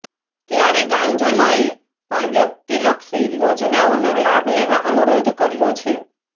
ત્યારે ગામજનોએ પણ વ્યક્તિલક્ષી યોજનાઓનો લાભ લેવા અનુરોધ કર્યો છે